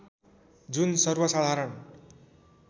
जुन सर्वसाधारण